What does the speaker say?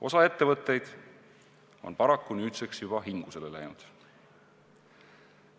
Osa ettevõtteid on paraku nüüdseks juba hingusele läinud.